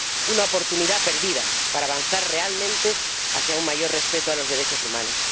una oportunidad perdida para avanzar realmente hacia un mayor respeto a los derechos humanos.